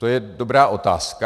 To je dobrá otázka.